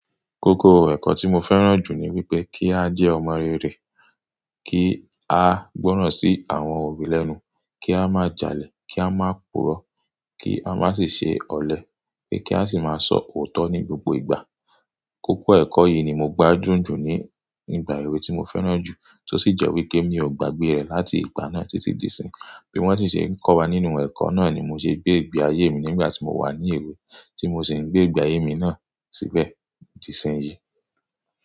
Kókó ẹ̀kọ́ tí mo fẹ́ràn jù ni wípé kí a jẹ́ ọmọ rere, kí a gbọ́ràn sí àwọn òbí lẹ́nu, kí a má jalè, kí a má purọ̀, kí a má sì ṣe ọ̀lẹ, pé kí á sì máa sọ òótọ́ ní gbogbo ìgbà. Kókó ẹ̀kọ́ yìí ni mo gbádùn jù ní ìgbà èwe tí mo fẹ́ràn jù, tó sì jẹ́ wípé mi ò gbàgbé rẹ̀ láti ìgbà náà títí di ìsín. Bí wón sì ṣe ń kọ́ wa nínú ẹ̀kọ́ náà ni mo ṣe gbé ìgbé ayé mi nígbà tí mo wà ní èwe, tí mo sì ń gbé ìgbé ayé mi náà síbẹ̀ di ìsín yìí.